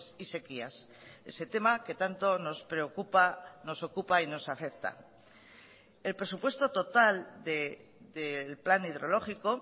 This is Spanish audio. y sequías ese tema que tanto nos preocupa nos ocupa y nos afecta el presupuesto total del plan hidrológico